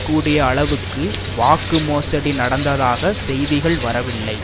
கூடிய அளவுக்கு வாக்கு மோசடி நடந்ததாக செய்திகள் வரவில்லை